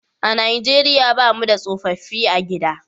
A Najeriya ba mu da tsofaffi a gida